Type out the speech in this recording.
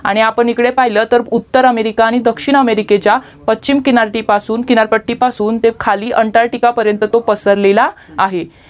आणि आपण ईकढ पहिलं तर उत्तर अमेरिका आणि दक्षिण अमेरिकेच्या पश्चिम किनार्‍यापासून किनारपट्टी पासून ते खाली अंटारटिका पर्यन्त तो पसरलेला आहे